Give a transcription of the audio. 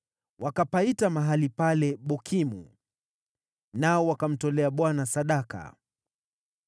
Wakapaita mahali pale Bokimu. Nao wakamtolea Bwana sadaka.